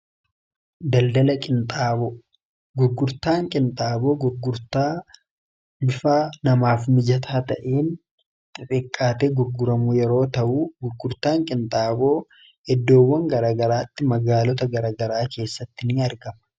daldal fi gurgurtaan qinxaaboo gurgurtaa namaaf mijataa ta'iin xixiqqaate gurguramuu yeroo ta'uu gurgurtan qinxaaboo eddoowwan garagaraatti magaalota garagaraa keessatti ni argama.